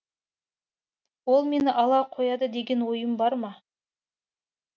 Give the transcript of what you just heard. ол мені ала қояды деген ойым бар ма